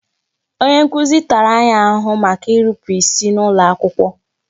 Onye nkuzi tara anyị ahụhụ maka irupu isi n'iwu ụlọakwụkwọ